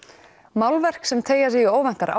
málverk sem teygja sig í óvæntar